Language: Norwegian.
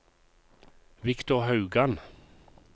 Victor Haugan